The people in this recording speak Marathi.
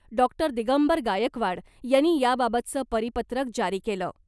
डॉक्टर दिगंबर गायकवाड यांनी याबाबतचं परिपत्रक जारी केलं .